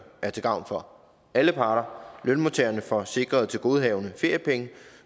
er til gavn for alle parter lønmodtagerne får sikret tilgodehavende feriepenge